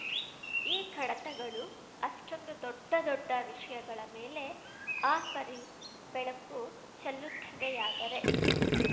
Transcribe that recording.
ಈ ಕಡತಗಳು ಅಷ್ಟೊಂದು ದೊಡ್ಡ ದೊಡ್ಡ ವಿಷಯಗಳ ಮೇಲೆ ಆ ಪರಿ ಬೆಳಕು ಚೆಲ್ಲುತ್ತವೆಯಾದರೆ